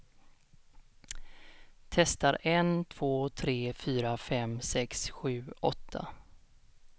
Testar en två tre fyra fem sex sju åtta.